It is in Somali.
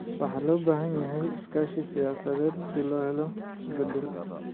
Waxaa loo baahan yahay iskaashi siyaasadeed si loo helo isbedel